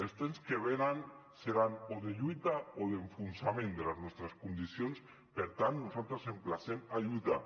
els temps que venen seran o de lluita o d’enfonsament de les nostres condicions per tant nosaltres emplacem a lluitar